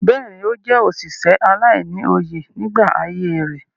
Bẹ́ẹ̀ni, ó jẹ́ òsìsẹ̀ aláìní-oyè nígbà ayé rẹ̀.